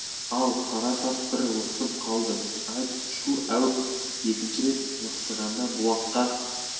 ал қара тас бір лықсып қалды айт шу әуп екінші рет лықсығанда бұлаққа